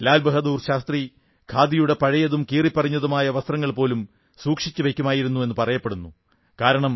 ലാൽ ബഹാദുർ ശാസ്ത്രി ഖാദിയുടെ പഴയതും കീറിപ്പറിഞ്ഞതുമായ വസ്ത്രങ്ങൾ പോലും സൂക്ഷിച്ചു വയ്ക്കുമായിരുന്നുവെന്നു പറയപ്പെടുന്നു